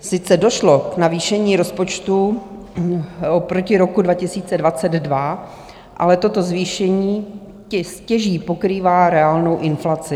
Sice došlo k navýšení rozpočtu oproti roku 2022, ale toto zvýšení stěží pokrývá reálnou inflaci.